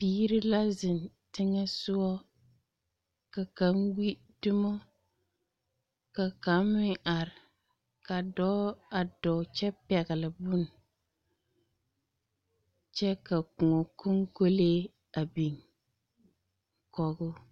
Biiri la zeŋ teŋa soɔ ka kaŋ gbi dumo, ka kaŋ meŋ are, ka dɔɔ a dɔɔ kyɛ pɛgle bone kyɛ ka koɔ konkolee a biŋ kɔgoo. 13433